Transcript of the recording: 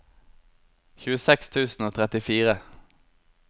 tjueseks tusen og trettifire